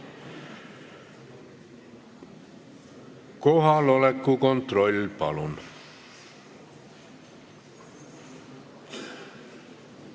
Kohaloleku kontroll, palun!